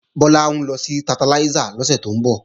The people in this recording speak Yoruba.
Bọ́lá ń lọ sí Tantalizer lọ́sẹ̀ tó ń bọ̀